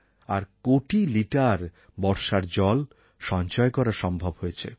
আর কোটি লিটার বর্ষার জল সঞ্চয় করা সম্ভব হয়েছে